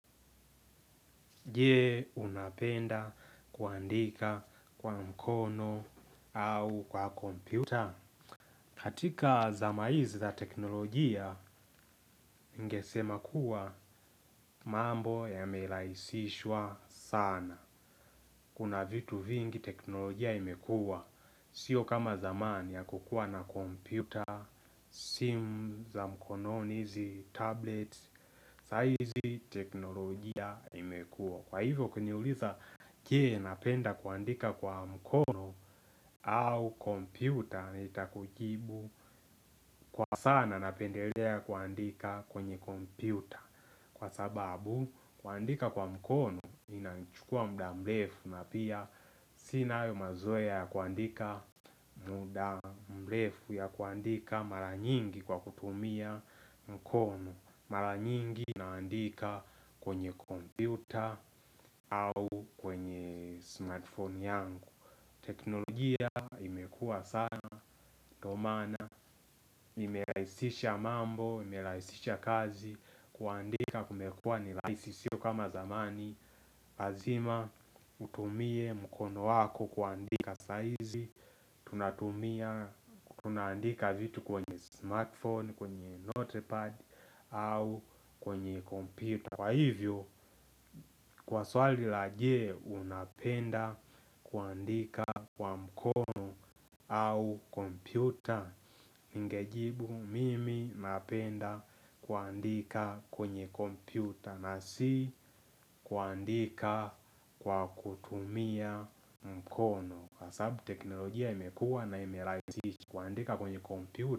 Jee unapenda kuandika kwa mkono au kwa komputa. Katika zama hizi za teknolojia ningesema kuwa mambo ya melaisishwa sana. Kuna vitu vingi teknolojia imekua. Sio kama zamani hakukua na komputa, simu za mkononi hizi, tablet, sahizi teknolojia imekua. Kwa hivyo ukiniuliza jee napenda kuandika kwa mkono au kompyuta nitakujibu. Kwa sana napendelea kuandika kwenye kompyuta. Kwa sababu kuandika kwa mkono inachukua muda mrefu na pia sina hayo mazoa ya kuandika muda mrefu ya kuandika mara nyingi kwa kutumia mkono. Mara nyingi naandika kwenye kompyuta au kwenye smartphone yangu. Teknolojia imekua sana ndo maana imelaisisha mambo, imelaisisha kazi. Kuandika kumekua ni rahisi sio kama zamani. Lazima utumie mkono wako kuandika saizi. Tunatumia, tunandika vitu kwenye smartphone, kwenye notepad au kwenye kompyuta. Kwa hivyo, kwa swali laje unapenda kuandika kwa mkono au kompyuta. Ningejibu, mimi napenda kuandika kwenye kompyuta na si kuandika kwa kutumia mkono. Kwasababu teknolojia imekua na ime raisisha kuandika kwenye kompyuta.